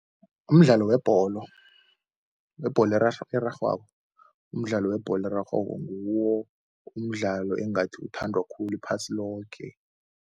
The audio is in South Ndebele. Umdlalo webholo, webholo erarhwako. Umdlalo webholo erarhwako nguwo umdlalo engathi uthandwa khulu iphasi loke.